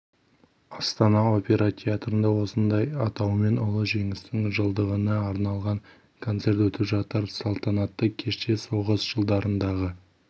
астана опера театрында осындай атаумен ұлы жеңістің жылдығына арналған концерт өтіп жатыр салтанатты кеште соғыс жылдарындағы